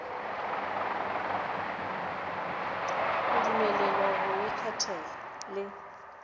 go dumelelwa go ikgethela le